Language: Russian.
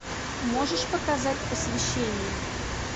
можешь показать посвящение